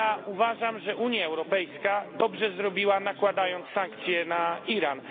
Uważam, że Unia Europejska dobrze zrobiła, nakładając sankcje na Iran.